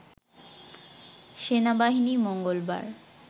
সেনাবাহিনী মঙ্গলবার